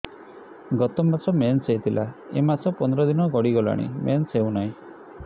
ଗତ ମାସ ମେନ୍ସ ହେଇଥିଲା ଏ ମାସ ପନ୍ଦର ଦିନ ଗଡିଗଲାଣି ମେନ୍ସ ହେଉନାହିଁ